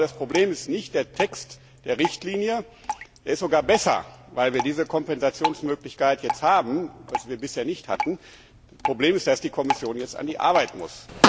Das Problem ist nicht der Text der Richtlinie er ist sogar besser, weil wir diese Kompensationsmöglichkeit jetzt haben, die wir bisher nicht hatten sondern dass die Kommission jetzt an die Arbeit muss.